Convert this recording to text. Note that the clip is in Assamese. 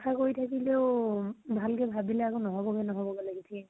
আশা কৰি থাকিলেও, ভালকে ভাবিলে আকৌ নহব্গে নহব্গে লাগি থাকে।